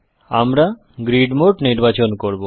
আমরা grid mode নির্বাচন করব